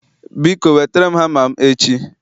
Biko wetere m hama m echi.